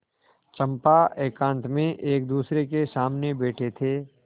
चंपा एकांत में एकदूसरे के सामने बैठे थे